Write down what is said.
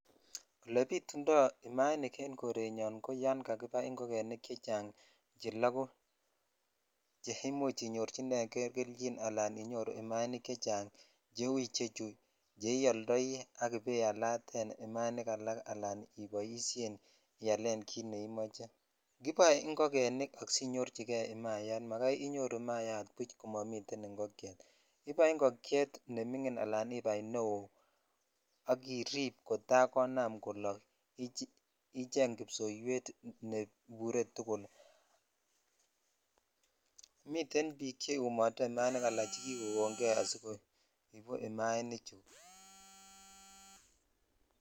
Ole bitundo imainik en korenyon ko yan kakibai ingogenik chechang che launched imuch inyorchinen kei kelchi ala imainik chechang cheu churches ioldoi ak ibaialaten imainik alak ala iboishenialen jit neimoche kiboe ingogenik asinyorchikei imayat magai inyoru imayat buj komonii ingokyet imuch ibai nemingin ala neo ak irip kotaa konam kolok icheng ipsoiwet neibure tugul(puse)miten bik cheumote imainik ala chekikon kei asikoibe imainik chu.